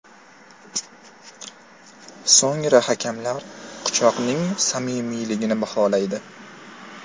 So‘ngra hakamlar quchoqning samimiyligini baholaydi.